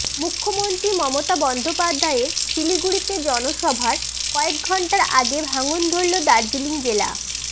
মুখ্যমন্ত্রী মমতা বন্দ্যোপাধ্যায়ের শিলিগুড়িতে জনসভার কয়েক ঘণ্টা আগে ভাঙন ধরল দার্জিলিং জেলা